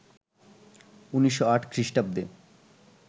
১৯০৮ খ্রীস্টাব্দে